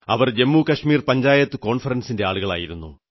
അവർ ജമ്മുകശ്മീർ പഞ്ചായത് കോൺഫറൻസിന്റെ ആളുകളായിരുന്നു